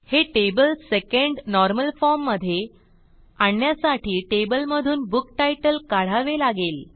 हे table second normal form मधे आणण्यासाठी टेबलमधून बुक्तीतले काढावे लागेल